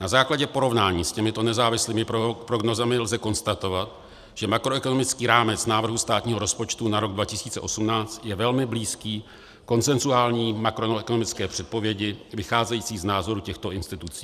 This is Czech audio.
Na základě porovnání s těmito nezávislými prognózami lze konstatovat, že makroekonomický rámec návrhu státního rozpočtu na rok 2018 je velmi blízký konsenzuální makroekonomické předpovědi vycházející z názoru těchto institucí.